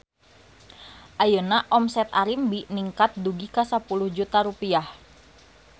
Ayeuna omset Arimbi ningkat dugi ka 10 juta rupiah